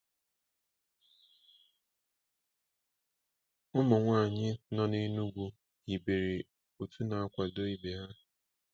Ụmụnwaanyị nọ n'Enugu hibere otu na-akwado ibe ha.